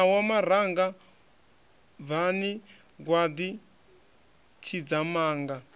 ṋawa maranga bvani gwaḓi tshidzamanga